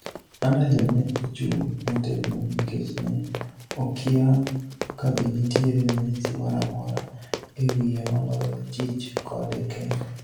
Underhill ne ochung' motegno nikech ne okiya kabe nitiere ranyisi moramora ewiye maloyo chich kode kende."